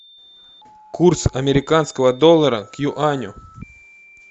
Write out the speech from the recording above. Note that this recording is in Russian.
курс американского доллара к юаню